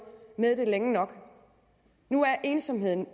med det længe nok at nu er ensomheden